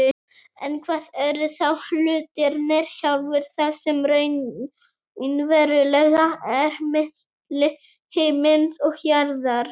En hvað eru þá hlutirnir sjálfir, það sem raunverulega er milli himins og jarðar?